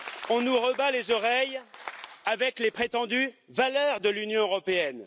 On nous rebat les oreilles avec les prétendues valeurs de l'Union européenne.